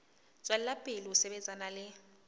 tswela pele ho sebetsana le